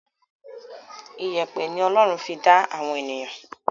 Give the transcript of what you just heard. ìyẹ̀pẹ̀ ni Ọlọ́run fi dá àwọn ènìyàn.